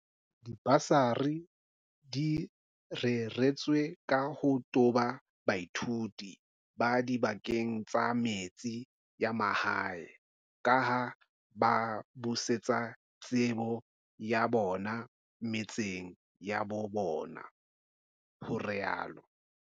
Dibasari di reretswe ka ho toba baithuti ba dibakeng tsa metse ya mahae kaha ba ka busetsa tsebo ya bona metseng ya bo bona, ho rialo